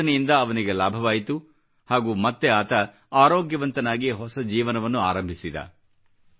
ಈ ಯೋಜನೆಯಿಂದ ಅವನಿಗೆ ಲಾಭವಾಯಿತು ಹಾಗೂ ಮತ್ತೆ ಆತ ಆರೋಗ್ಯವಂತನಾಗಿ ಹೊಸ ಜೀವನವನ್ನು ಆರಂಭಿಸಿದ